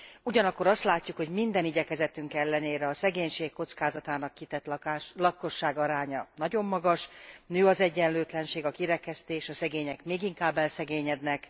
Ugyanakkor azt látjuk, hogy minden igyekezetünk ellenére a szegénység kockázatának kitett lakosság aránya nagyon magas, nő az egyenlőtlenség, a kirekesztés, a szegények még inkább elszegényednek.